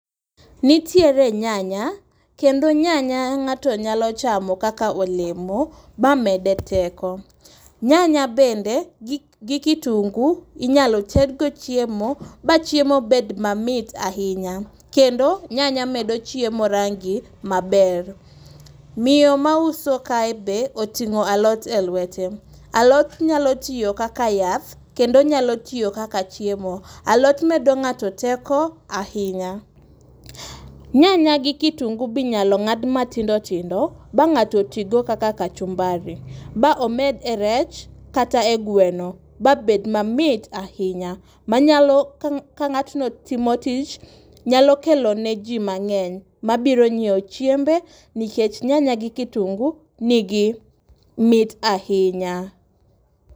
Nitiere nyanya, kendo nyanya ng'ato nyalo chamo kaka olemo mamede teko. Nyanya bende gi kitunguu inyalo tedgo chiemo ma chiemo bed mamit ahinya. Kendo, nyanya medo chiemo rangi maber. Miyo mauso kae be oting'o alot e luete .Alot nyalo tiyo kaka yath, kendo onyalo tiyo kaka chiemo. Alot medo ng'ato teko ahinya. Nyanya gi kitunguu be inyalo ng'ad matindotindo ba ng'ato tigo kaka kachumbari. Ba omed e rech, kata e gweno ba bed mamit ahinya. Manyalo, ka ng'atno timo tich nyalo kelone ji mang'eny mabiro nyiewo chiembe , nikech nyanya gi kitunguu nigi mit ahinya.